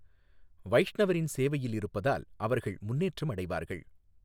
வைஷ்ணவரின் சேவையில் இருப்பதால் அவர்கள் முன்னேற்றம் அடைவார்கள்